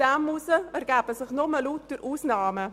Daraus ergeben sich viele Ausnahmen.